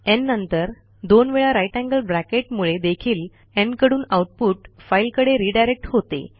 न् नंतर दोन वेळा ग्रेटर थान साइन मुळे देखील न् कडून आऊटपुट फाईलकडे रिडायरेक्ट होते